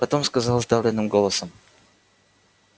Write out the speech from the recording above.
потом сказал сдавленным голосом